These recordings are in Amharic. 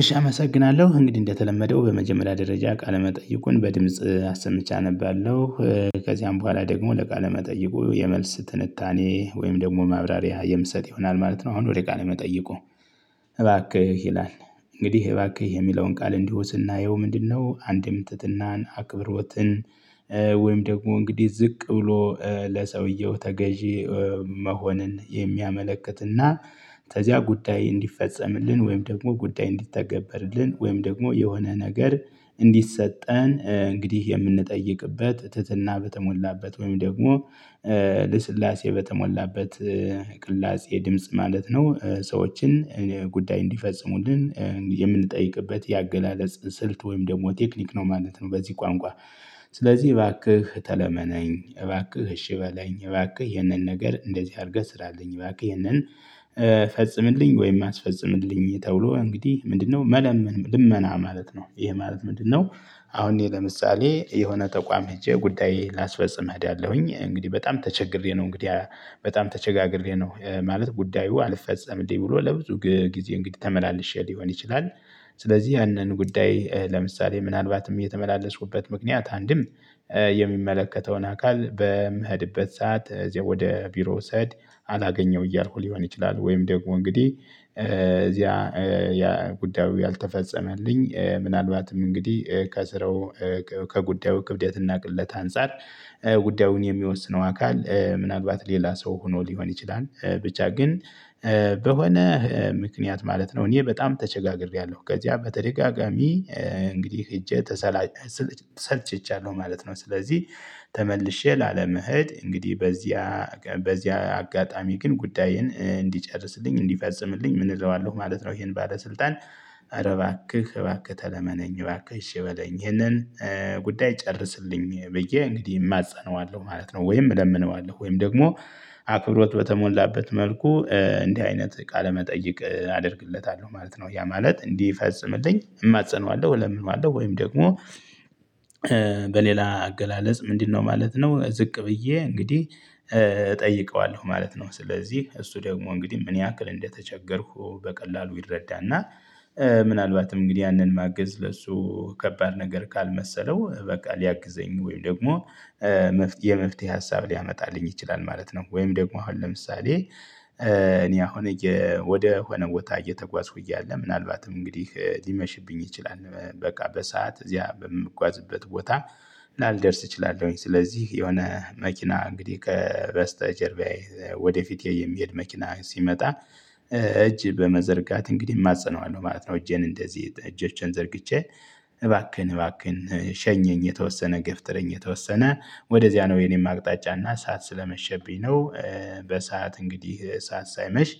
እሺ አመሰግናለሁ እንግዲህ እንደተለመደው በመጀመሪያ ደረጃ ቃለ መጠይቁን በድምጽ አሰምቸ አነባለሁ ከዚያም በኋላ ደግሞ ለቃለ መጠይቁ የመልስ ትንታኔ ወይም ደግሞ ማብራሪያ የምሰጥ ይሆናል ማለት ነው አሁን ወደ ቃለ መጠየቁ እባክህ ይላል እንግዲህ እባክህ የሚለውን ቃል እንዲሁ ስናየው ምንድነው አንድም ትትናን አክብሮትን ወይም ደግሞ እንግዲህ ዝቅ ብሎ ለሰውየው ተገዢ መሆንን የሚያመለክትና ከዚያ ጉዳይ እንዲፈፀምልን ወይም ደግሞ ጉዳይ እንዲተገበርልን ወይም ደግሞ የሆነ ነገር እንዲሰጠን እንግዲህ የምንጠይቅበት ትህትና በተሞላበት ወይም ደግሞ ልስላሴ በተሞላበት ቅላጼ ድምጽ ማለት ነው ሰዎችን ጉዳይ እንዲፈጽሙልን የምንጠይቅበት የአገላለጽ ስልት ወይም ደግሞ ቴክኒክ ነው ማለት ነ። በዚህ ቋንቋ ስለዚህ እባክህ ተለመነኝ፣ እባክህ እሺ በለኝ፣ እባክህ ይህንን ነገር እንደዚህ አድርገህ ስራን፣ ይባክህ ይህንን ፈጽምልኝ ወይም አስፈጽምልኝ ተብሎ እንግዲህ ምንድነው መለመን ልመና ማለት ነው ይሄ ማለት ምንድነው? አሁን እኔ ለምሳሌ የሆነ ተቋም ሄጄ ጉዳዬ ላስፈጽም እሄዳለሁኝ እንግዲህ በጣም ተቸግሬ ነው እንግዲህ በጣም ተቸጋግሬ ነው ማለት ጉዳዩ አልፈጸምም እንዴ ብሎ ለብዙ ጊዜ እንግዲህ ተመላልሼ ሊሆን ይችላል ስለዚህ ያንን ጉዳይ ለምሳሌ ምናልባትም የተመላለስሁበት ምክንያት አንድም የሚመለከተውን አካል በምኸድበት ሰዓት እዚያ ወደ ቢሮ ስኸድ አላገኘው እያልኩ ሊሆን ይችላል ወይም ደግሞ እንግዲህ እዚያ ያ ጉዳዩ ያልተፈጸመልኝ ምናልባትም እንግዲህ ከስራው ከጉዳዩ ክብደት እና ቅለት አንፃር ጉዳዩን የሚወስነው አካል ምን አልባት ሌላ ሰው ሆኖ ሊሆን ይችላል ብቻ ግን በሆነ ምክንያት ማለት ነው እኔ በጣም ተቸጋግሬያለሁ ከዚያ በተደጋጋሚ እንግዲህ ሄጄ ተሰላች ሰልቸቻለሁ ማለት ነው ስለዚህ ተመልሼ ላለመሄድ እንግዲህ በዚያ በዚያ አጋጣሚ ግን ጉዳይህን እንዲጨርስልኝ እንዲፈጽምልኝ ምን እለዋለሁ ማለት ነው ይሄን ባለስልጣን ኧረ ባክህ ባክህ ተለመነኝ ባክህ እሺ በለኝ ይሄንን ጉዳይ ጨርስልኝ ብዬ እንግዲህ እማጸነዋለሁ ማለት ነው ወይም እለምነዋለሁ ወይም ደግሞ አክብሮት በተሞላበት መልኩ እንዲህ አይነት ቃለመጠየቅ አደርግለታለሁ ማለት ነው ያ ማለት እንዲፈጽምልኝ እማጽነዋለሁ ለምን እማጽነዋለሁ ወይም ደግሞ እሺ አመሰግናለሁ እንግዲህ እንደተለመደው በመጀመሪያ ደረጃ ቃለ መጠይቁን በድምጽ አሰሞቼለሁ ምናልባትም እንግዲህ ያንን ማገዝ ለሱ ከባድ ነገር ካልመሰለው በቃ ሊያግዘኝ ወይም ደግሞ የመፍትሄ ሀሳብ ሊያመጣልኝ ይችላል ማለት ነው ወይም ደግሞ አሁን ለምሳሌ እኔ አሁን ወደ ሆነ ቦታ እየተጓዝኩ እያለ ምናልባትም እንግዲህ ሊመሽብኝ ይችላል። በቃ በሰአት እዚያ በምጓዝበት ቦታ ምናልባት ላልደርስ እችላለሁኝ ስለዚህ የሆነ መኪና እንግዲህ ከበስተጀርባዬ ወደፊት የሚሄድ መኪና ሲመጣ እጅ በመዘርጋት እንግዲህ እማፀነዋለሁ ማለት ነው። እጄን እንደዚህ እጆቼን ዘርግቼ እባክህን እባክህን ሸኘኝ የተወሰነ ገፍትረኝ የተወሰነ ወደዚያ ነው የኔም አቅጣጫ እና ሰዓት ስለመሸብኝ ነው በሰአት እንግዲህ ሰዓት ሳይመሽ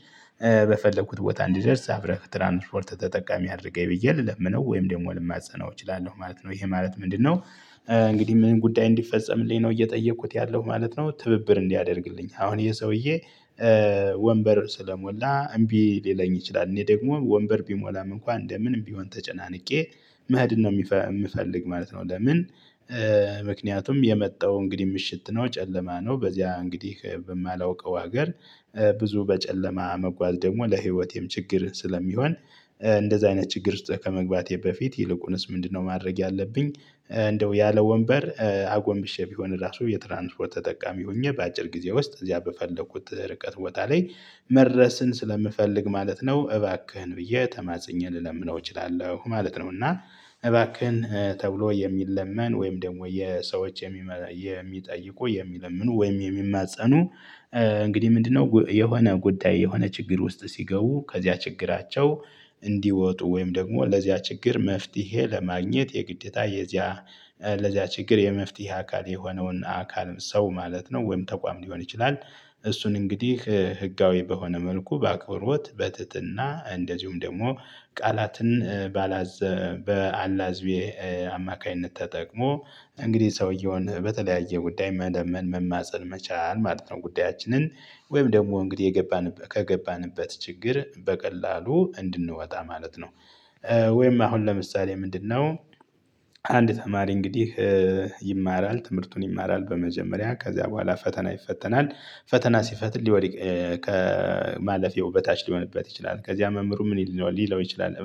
በፈለኩት ቦታ እንዲደርስ አብረክ ትራንስፖርት ተጠቃሚ አድርገኝ ብዬ ልለምነው ወይም ደግሞ ልማፀነው እችላለሁ ማለት ነው። ይሄ ማለት ምንድነው እንግዲህ ምንም ጉዳይ እንዲፈጸምልኝ ነው እየጠየኩት ያለው ማለት ነው ትብብር እንዲያደርግልኝ አሁን ይሄ ሰውዬ ወንበር ስለሞላ እምቢ ሊለኝ ይችላል እኔ ደግሞ ወንበር ቢሞላም እንኳን እንደምን ቢሆን ተጨናንቄ መኸዲን ነው የምፈልግ ማለት ነው ለምን ምክንያቱም የመጣው እንግዲህ ምሽት ነው ጨለማ ነው በዚያ እንግዲህ በማላውቀው ሀገር ብዙ በጨለማ መጓዝ ደግሞ ለህይወቴም ችግር ስለሚሆን እንደዚህ አይነት ችግር ከመግባቴ በፊት ይልቁንስ ምንድነው ማድረግ ያለብኝ እንደው ያለ ወንበር አጎንብሼ ቢሆን ራሱ የትራንስፖርት ተጠቃሚ ሆኜ በአጭር ጊዜ ውስጥ እዚያ በፈለኩት ርቀት ቦታ ላይ መድረስን ስለምፈልግ ማለት ነው። እባክህን ብዬ ተማጽኜ ልለምነው እችላለሁ ማለት ነው። እና እባክህን ተብሎ የሚለመን ወይም ደግሞ የሰዎች የሚጠይቁ የሚለምኑ ወይም የሚማፀኑ እንግዲህ ምንድነው የሆነ ጉዳይ የሆነ ችግር ውስጥ ሲገቡ ከዚያ ችግራቸው እንዲወጡ ወይም ደግሞ ለዚያ ችግር መፍትሄ ለማግኘት የግዴታ የዚያ ለዚያ ችግር የመፍትሄ አካል የሆነውን አካል ሰው ማለት ነው ወይም ተቋም ሊሆን ይችላል እሱን እንግዲህ ህጋዊ በሆነ መልኩ በአቅርቦት በትህትና እንደዚሁም ደግሞ ቃላትን ባላዘ በአላዝቤ አማካኝነት ተጠቅሞ እንግዲህ ሰውየውን በተለያየ ጉዳይ መለመን መማፀን መቻል ማለት ነው ጉዳያችንን ወይም ደግሞ እንግዲህ ከገባንበት ችግር በቀላሉ እንድንወጣ ማለት ነው ወይም አሁን ለምሳሌ ምንድነው? አንድ ተማሪ እንግዲህ ይማራል ትምህርቱን ይማራል በመጀመሪያ ከዚያ በኋላ ፈተና ይፈተናል ፈተና ሲፈትል ሊወድቅ ከማለፌው በታች ሊሆንበት ይችላል ከዚያ መምህሩ ምን ሊለው ሊለው ይችላል